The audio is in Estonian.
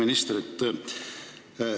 Hea minister!